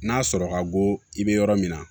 N'a sɔrɔ ka bɔ i bɛ yɔrɔ min na